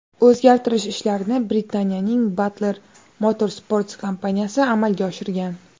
O‘zgartirish ishlarini Britaniyaning Butler Motorsports kompaniyasi amalga oshirgan.